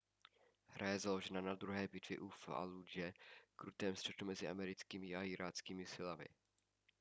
hra je založena na druhé bitvě u fallúdže krutém střetu mezi americkými a iráckými silami